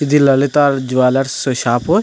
ఇది Lalitha jewellers shop .